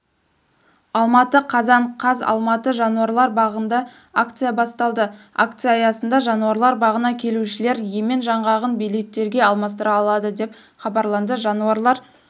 алматы қазан қаз алматы жануралар бағында акция басталды акция аясында жануарлар бағына келушілер емен жаңғағын билеттерге алмастыра алады деп хабарланды жануарлар